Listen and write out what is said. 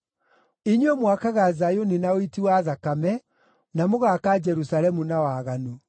inyuĩ mwakaga Zayuni na ũiti wa thakame, na mũgaaka Jerusalemu na waganu.